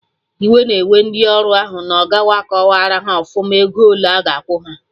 Iwe na-ewe ndị ọrụ na ọga ha akọwarọ haọfụma ego ole aga akwụ ha